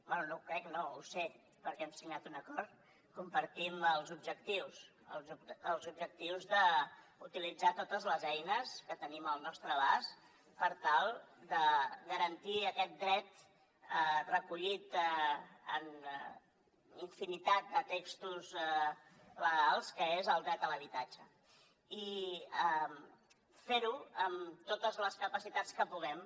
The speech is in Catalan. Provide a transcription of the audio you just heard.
bé no ho crec no ho sé perquè hem signat un acord compartim els objectius d’utilitzar totes les eines que tenim al nostre abast per tal de garantir aquest dret recollit en infinitat de textos legals que és el dret a l’habitatge i fer ho amb totes les capacitats que puguem